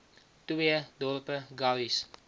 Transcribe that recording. twee dorpe garies